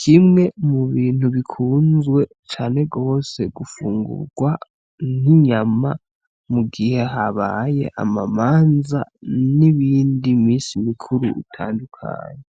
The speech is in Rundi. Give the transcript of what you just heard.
kimwe mu bintu bikunzwe cane gose gufungurwa n'inyama mu gihe habaye amamanza n'iyindi misi mikuru itandukanye.